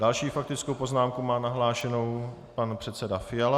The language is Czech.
Další faktickou poznámku má nahlášenou pan předseda Fiala.